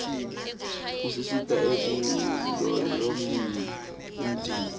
isisita ekulolongeni umtimba